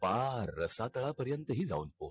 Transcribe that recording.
पार रसातळा पर्यंत ही जाऊन पो